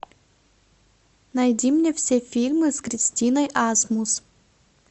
найди мне все фильмы с кристиной асмус